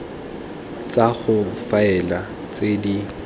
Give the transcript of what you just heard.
tsa go faela tse di